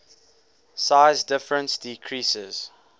size difference decreases